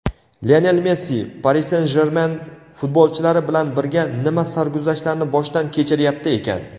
Lionel Messi "Pari Sen-Jermen" futbolchilari bilan birga nima sarguzashtlarni boshdan kechiryapti ekan?.